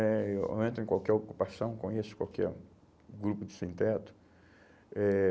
né... Eu entro em qualquer ocupação, conheço qualquer grupo de sem teto. Eh